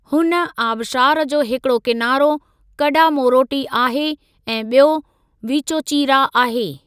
हुन आबशारु जो हिकिड़ो किनारो कडामोरोटी आहे ऐं ॿियो वीचोचीरा आहे।